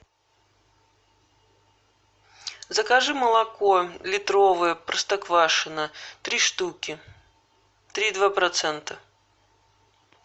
закажи молоко литровое простоквашино три штуки три и два процента